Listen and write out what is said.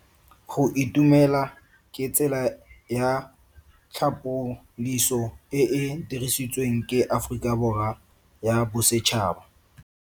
Go itumela ke tsela ya tlhapoliso e e dirisitsweng ke Aforika Borwa ya Bosetšhaba.